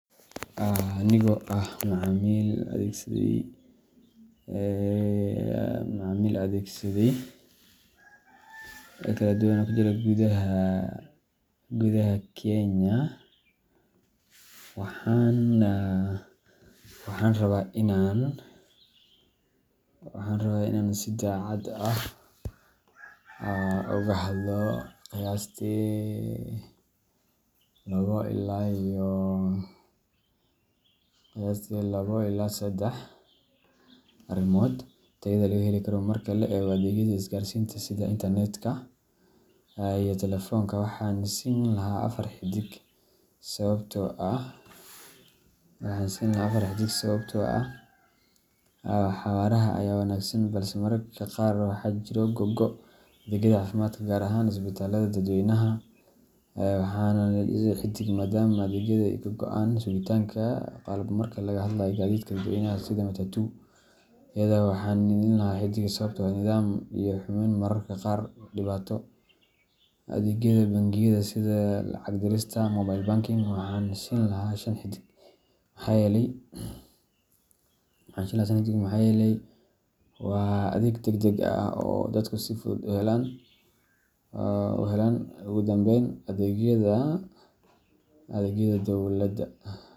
Anigoo ah macaamiil adeegsaday adeegyo kala duwan oo ka jira gudaha dalka Kenya, waxaan rabaa inaan si daacad ah u cabbiro tayada adeegyada la heli karo. Marka la eego adeegyada isgaarsiinta sida internet iyo taleefoonka, waxaan siin lahaa afar xiddig sababtoo ah xawaaraha ayaa wanaagsan balse mararka qaar waxaa jira go’go’. Adeegyada caafimaadka, gaar ahaan isbitaalada dadweynaha, waxaan siin lahaa saddex xiddig maadaama adeegyada ay yihiin kuwo muhiim ah laakiin sugitaanka iyo qalab yaraanta ay caqabad yihiin. Marka laga hadlayo gaadiidka dadweynaha, sida matatu-yada, waxaan siin lahaa laba xiddig sababtoo ah nidaam la’aan iyo amni xumo ayaa mararka qaar dhibaato leh. Adeegyada bangiyada, sida lacag dirista iyo mobile banking, waxaan siin lahaa shan xiddig maxaa yeelay waa adeeg degdeg ah oo dadku si fudud u helaan. Ugu dambayn, adeegyada dowladda.